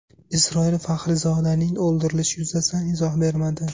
Isroil Faxrizodaning o‘ldirilishi yuzasidan izoh bermadi.